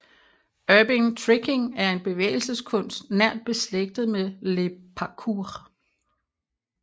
Urban Tricking er en bevægelseskunst nært beslægtet med Le Parkour